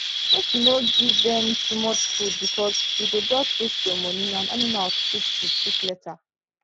make you no give them too much food because u go just waste ur money and animals fit sick sick later